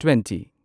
twenty